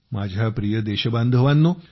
माझ्या प्रिय देशबांधवांनो